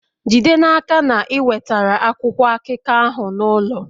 Jide n'aka na ị wetara akwụkwọ akụkọ ahụ n'ụlọ!